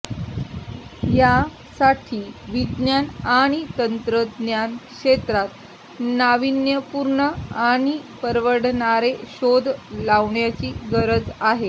यासाठी विज्ञान आणि तंत्रज्ञान क्षेत्रात नाविन्यपूर्ण आणि परवडणारे शोध लावण्याची गरज आहे